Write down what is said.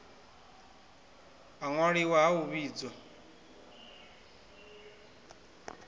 ha ṅwaliwa ha u vhidza